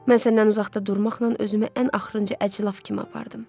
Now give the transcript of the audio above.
Mən səndən uzaqda durmaqla özümü ən axrıncı əclaf kimi apardım.